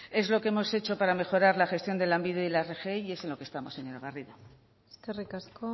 es lo que hemos hecho para mejorar la gestión de lanbide y la rgi y es en lo que estamos señora garrido eskerrik asko